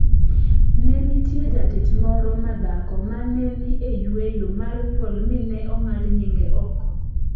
"Ne nitie jatich moro ma dhako mane ni e yueyo mar nyuol mi ne ong'ad nyinge oko.